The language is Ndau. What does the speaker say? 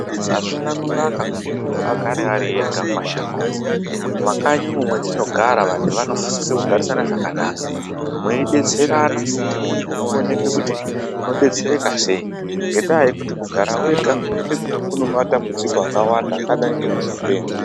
Azvina kunaka kuti muntu agare Ari ega mumashango mumakanyi umo matinogara vantu vanosisa kugarisana zvakanaka mweidetserana kuti muntu uoneke kuti unodetsereka sei ngenda yekuti kugara wega kune matambudziko akawanda akaita sekuzopenga.